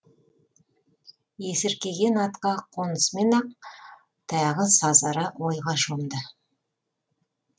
есіркеген атқа қонысымен ақ тағы сазара ойға шомды